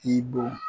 I bɔn